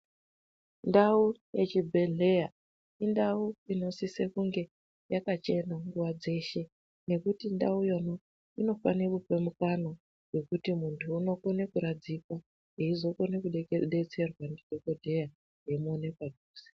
Ndawu yechibhehleya indawu inosise kunge yakachena nguwa dzeshe ngekuti ndawu yo, inofane kupe mukana wekuti munthu unokona kuradzikwa eizokone kudetserwa ndidhokoteya eimuona padhuze.